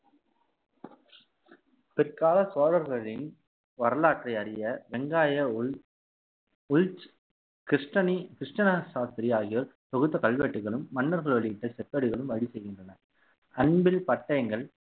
பிற்கால சோழர்களின் வரலாற்றை அறிய வெங்காய உள் உள்ச்~ கிருஷ்ணனி கிருஷ்ண சாஸ்திரி ஆகியோர் தொகுத்த கல்வெட்டுகளும் மன்னர்கள் வெளியிட்ட செப்பேடுகளும் வழி செய்கின்றன அன்பில் பட்டயங்கள்